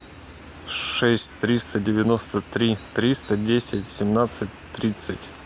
шесть триста девяносто три триста десять семнадцать тридцать